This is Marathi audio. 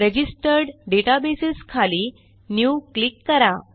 रजिस्टर्ड डेटाबेस खाली न्यू क्लिक करा